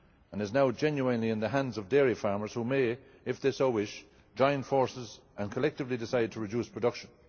It is now genuinely in the hands of dairy farmers who may, if they so wish, join forces and collectively decide to reduce production.